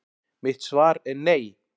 Mitt svar er nei!